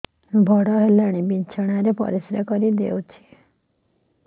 ବଡ଼ ହେଲାଣି ବିଛଣା ରେ ପରିସ୍ରା କରିଦେଉଛି